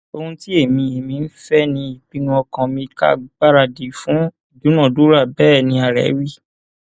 ohun tí èmi èmi ń fẹ ni ìpinnu ọkàn mi ká gbáradì fún ìdúnàádúrà bẹẹ ní ààrẹ wí